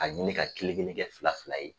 A ɲini ka kelen kelen kɛ fila fila ye